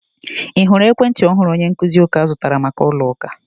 Ị hụrụ ekwentị ọhụrụ onye nkuzi ųka zụtara maka ụlo ųka?